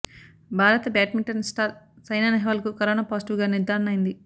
భారత badminton star Saina Nehwal కు corona positive గా నిర్ధారణ అయింది